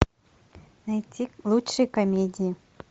найти лучшие комедии